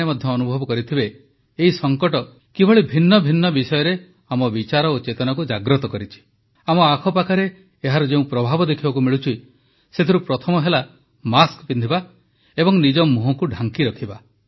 ଆପଣମାନେ ମଧ୍ୟ ଅନୁଭବ କରିଥିବେ ଏହି ସଂକଟ କିଭଳି ଭିନ୍ନ ଭିନ୍ନ ବିଷୟରେ ଆମ ବିଚାର ଓ ଚେତନାକୁ ଜାଗ୍ରତ କରିଛି ଆମ ଆଖପାଖରେ ଏହାର ଯେଉଁ ପ୍ରଭାବ ଦେଖିବାକୁ ମିଳୁଛି ସେଥିରୁ ପ୍ରଥମ ହେଲାମାସ୍କ ପିନ୍ଧିବା ଏବଂ ନିଜ ମୁହଁକୁ ଢାଙ୍କି ରଖିବା